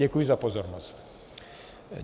Děkuji za pozornost.